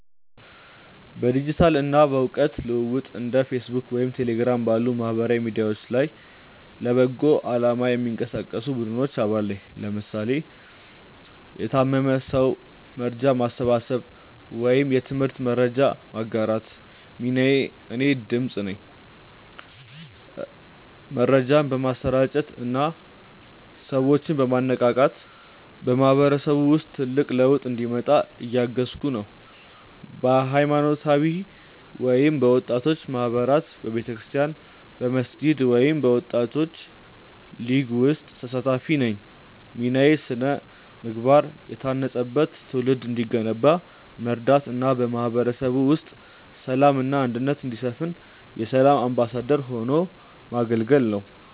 በዲጂታል እና በእውቀት ልውውጥ እንደ ፌስቡክ ወይም ቴሌግራም ባሉ ማህበራዊ ሚዲያዎች ላይ ለበጎ አላማ የሚንቀሳቀሱ ቡድኖች አባል ነኝ (ለምሳሌ ለታመመ ሰው መርጃ ማሰባሰብ ወይም የትምህርት መረጃ ማጋራት) ሚናዬ እኔ "ድምፅ" ነኝ። መረጃን በማሰራጨት እና ሰዎችን በማነቃቃት በማህበረሰቡ ውስጥ ትልቅ ለውጥ እንዲመጣ እያገዝኩ ነው። በሃይማኖታዊ ወይም በወጣቶች ማህበራት በቤተክርስቲያን፣ በመስጊድ ወይም በወጣቶች ሊግ ውስጥ ተሳታፊ ነኝ ሚናዬ ስነ-ምግባር የታነጸበት ትውልድ እንዲገነባ መርዳት እና በማህበረሰቡ ውስጥ ሰላም እና አንድነት እንዲሰፍን የ"ሰላም አምባሳደር" ሆኖ ማገልገል ነው